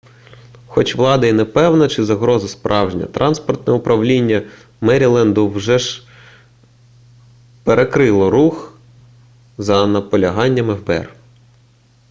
хоч влада і не певна чи загроза справжня транспортне управління меріленду все ж перекрило рух за наполяганням фбр